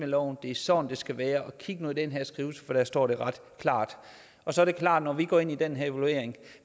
loven det er sådan det skal være og kig nu i den her skrivelse for der står det ret klart så er det klart at når vi går ind i den her evaluering og